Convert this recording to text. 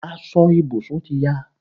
Aso ìbùsùn ti ya